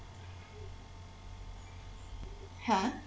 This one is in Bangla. হ্যাঁ